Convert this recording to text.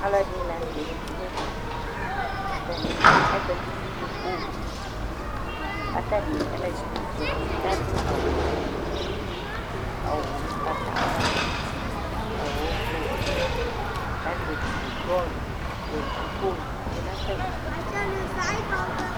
Alʊ ɛɖini la ŋʊtɛ azti ŋɛvɛ Atanɩ azati ŋʊ ƙoƙolɩ Ƙatani, alʊɛɖiŋɩ zatɩ ƙaɖʊ awu foé, awu ʊgbatawla, awu ʊblu Ƙazati ƙʊ ƙoƙo tsoé ŋʊ tamiɖʊ